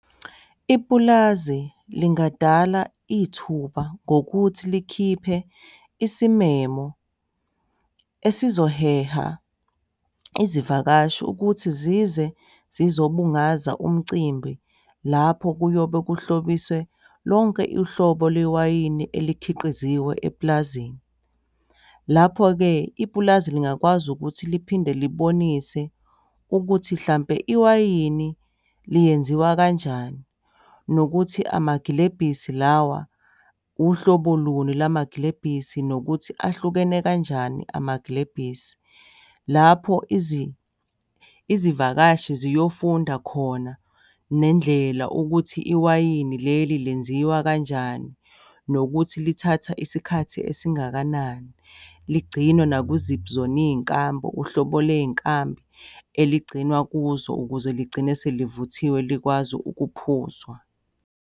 Ipulazi lingadala ithuba ngokuthi likhiphe isimemo esizoheha izivakashi ukuthi zize zizobungaza umcimbi lapho kuyobe kuhlobise lonke uhlobo lewayini elikhiqiziwe epulazini. Lapho-ke, ipulazi lingakwazi ukuthi liphinde libonise ukuthi hlampe iwayini lingenziwa kanjani. Nokuthi amagilebhisi lawa uhlobo luni lamagilebhisi, nokuthi ahlukene kanjani amagilebhisi. Lapho izivakashi ziyofunda khona, nendlela ukuthi iwayini leli lenziwa kanjani? Nokuthi lithatha isikhathi esingakanani? Ligcinwa nakuziphi zona iy'nkambi? Uhlobo ley'nkambi eligcinwa kuzo, ukuze ligcine selivuthiwe likwazi ukuphuzwa.